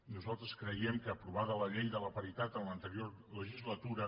nosaltres creiem que aprovada la llei de la paritat en l’anterior legislatura